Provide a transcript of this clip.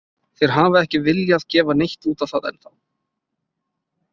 Þeir hafa ekki viljað gefa neitt út á það ennþá.